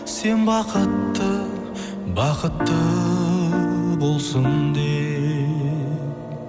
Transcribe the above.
сен бақытты бақытты болсын деп